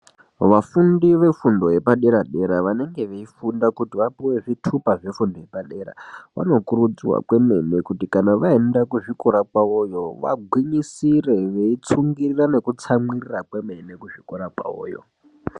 Vafundi vefundo yepaderadera vanenge veifunda kuti vapuwe zvitupa zvefundo yepadera vanokurudzirwa kwemene kuti kana vaenda kuzvikora kwavoyo vagwinyisire veitsungirira nekutsamwirira kwemene kuzvikora kwavoyo.